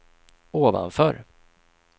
ovanför